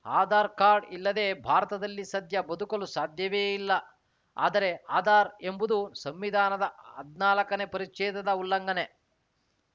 Aadhaar card ಇಲ್ಲದೇ ಭಾರತದಲ್ಲಿ ಸದ್ಯ ಬದುಕಲು ಸಾಧ್ಯವೇ ಇಲ್ಲ ಆದರೆ ಆಧಾರ್‌ ಎಂಬುದು ಸಂವಿಧಾನದ ಹದ್ನಾಲ್ಕನೇ ಪರಿಚ್ಛೇದದ ಉಲ್ಲಂಘನೆ